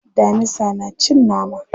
Damisa na cin nama.